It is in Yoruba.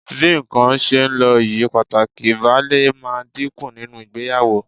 Bí nǹkan ṣe ń lọ yìí, pàtàkì ìbálé máa dínkù nínú ìgbéyàwó